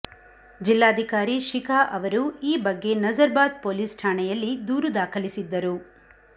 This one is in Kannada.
ಜಿಲ್ಲಾಧಿಕಾರಿ ಶಿಖಾ ಅವರು ಈ ಬಗ್ಗೆ ನಜರ್ ಬಾದ್ ಪೊಲೀಸ್ ಠಾಣೆಯಲ್ಲಿ ದೂರು ದಾಖಲಿಸಿದ್ದರು